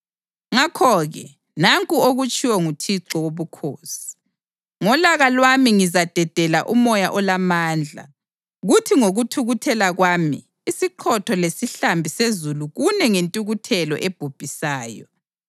Ngakho-ke nanku okutshiwo nguThixo Wobukhosi: Ngolaka lwami ngizadedela umoya olamandla, kuthi ngokuthukuthela kwami isiqhotho lesihlambi sezulu kune ngentukuthelo ebhubhisayo.